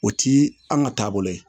O ti an ka taabolo ye